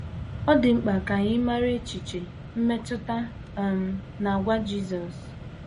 Ọ dị mkpa ka anyị mara echiche, mmetụta um, na àgwà Jisọs.